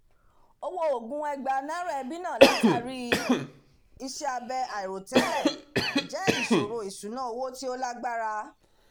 ọwọ́ oògùn ẹgbàá naira ẹbí náà látàrí iṣẹ́ abẹ àìròtẹ́lẹ̀ jẹ́ ìṣòro ìṣúná owó tí ó lágbára